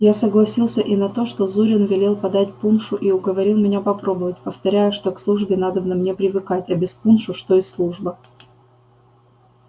я согласился и на то что зурин велел подать пуншу и уговорил меня попробовать повторяя что к службе надобно мне привыкать а без пуншу что и служба